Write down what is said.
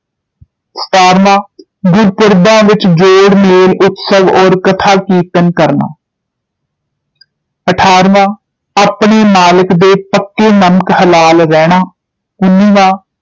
ਸਤਾਰਵਾਂ ਗੁਰਪੁਰਬਾਂ ਵਿਚ ਜੋੜ ਮੇਲ ਉਤਸਵ ਔਰ ਕਥਾ ਕੀਰਤਨ ਕਰਨਾ ਅਠਾਰਵਾਂ ਆਪਣੇ ਮਾਲਕ ਦੇ ਪੱਕੇ ਨਮਕ ਹਲਾਲ ਰਹਿਣਾ ਉਂਨੀਵਾਂ